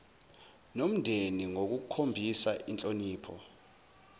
nomndeni ngokukhombisa inhlonipho